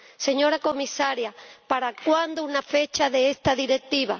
Señora Comisaria, ¿para cuándo una fecha para esta Directiva?